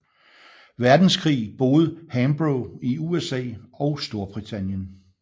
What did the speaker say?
Verdenskrig boede Hambro i USA og Storbritannien